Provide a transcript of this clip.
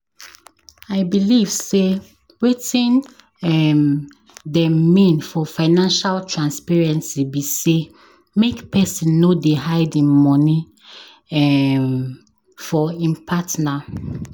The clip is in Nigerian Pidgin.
I believe sey wetin um dem mean for financial transparency be sey make pesin no dey hide im money um for im partner.